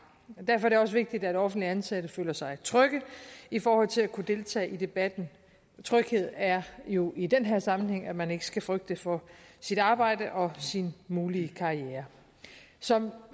derfor er det også vigtigt at offentligt ansatte føler sig trygge i forhold til at kunne deltage i debatten tryghed er jo i den her sammenhæng at man ikke skal frygte for sit arbejde og sin mulige karriere som